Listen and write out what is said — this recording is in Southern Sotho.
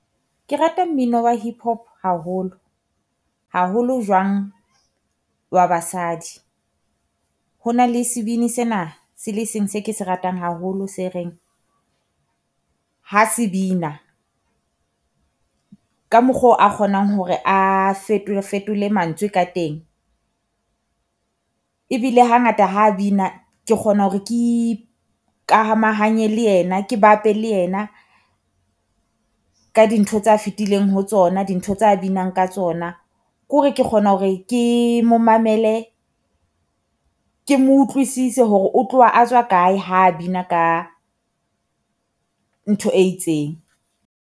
Ke rata mmino wa Hip Hop haholo, haholo jwang wa basadi. Ho na le sebini sena se le seng se ke se ratang haholo se reng ha se bina ka mokgo a kgonang hore a fetole, fetole mantswe ka teng. Ebile hangata ha bina ke kgona hore ke ikamahanye le ena, ke bape le ena ka dintho tsa fitileng ho tsona, dintho tsa binang ka tsona. Ko re ke kgona hore ke mo mamele, ke mo utlwisise hore o tloha a tswa kae ha bina ka ntho e itseng,